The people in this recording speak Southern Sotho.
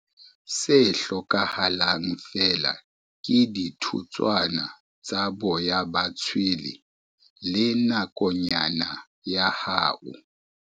Se hlokahalang feela ke dithutswana tsa boya ba tshwele le nakonyana ya hao.